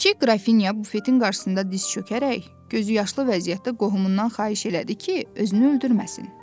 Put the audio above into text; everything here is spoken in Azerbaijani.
Kiçik Qrafinya bufetin qarşısında diz çökərək, gözüyaşlı vəziyyətdə qohumundan xahiş elədi ki, özünü öldürməsin.